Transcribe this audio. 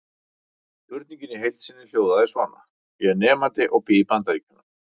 Spurningin í heild sinni hljóðaði svona: Ég er nemandi og ég bý í Bandaríkjum.